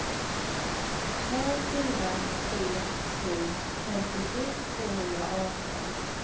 två fyra tre sju femtiosju tvåhundraarton